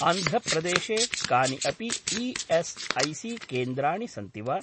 आन्ध्र प्रदेशे कानि अपि ई.एस्.ऐ.सी.केन्द्राणि सन्ति वा?